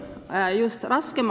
Kolm minutit lisa.